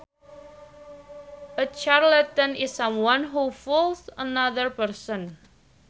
A charlatan is someone who fools another person